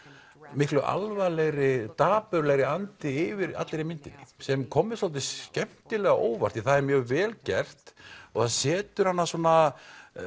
miklu alvarlegri dapurlegri andi yfir allri myndinni sem kom mér svolítið skemmtilega á óvart það er mjög vel gert og það setur hana svona